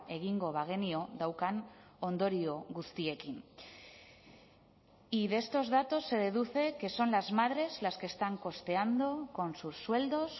egingo bagenio daukan ondorio guztiekin y de estos datos se deduce que son las madres las que están costeando con sus sueldos